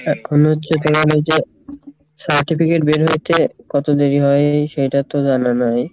এখন হচ্ছে তোমার ওইযে certificate বের হতে কত দেরি হয় সেইটা তো জানো মনে হয়